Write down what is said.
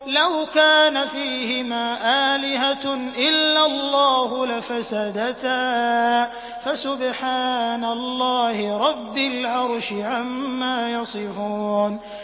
لَوْ كَانَ فِيهِمَا آلِهَةٌ إِلَّا اللَّهُ لَفَسَدَتَا ۚ فَسُبْحَانَ اللَّهِ رَبِّ الْعَرْشِ عَمَّا يَصِفُونَ